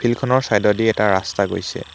Field খনৰ চাইদেদি এটা ৰাস্তা গৈছে।